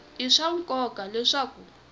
i swa nkoka leswaku ku